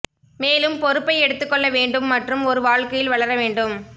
மேலும் பொறுப்பை எடுத்துக் கொள்ள வேண்டும் மற்றும் ஒரு வாழ்க்கையில் வளர வேண்டும்